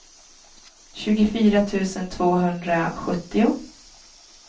tjugofyra tusen tvåhundrasjuttio